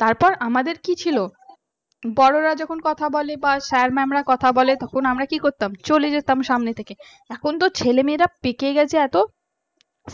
তারপর আমাদের কি ছিল বড়রা যখন কথা বলে বা sir mam রা কথা বলে তখন আমরা কি করতাম চলে যেতাম সামনে থেকে। এখন তো ছেলেমেয়েরা পেকে গেছে, এত